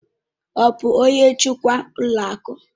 Ọ bụ onye njikwa ụlọ akụ?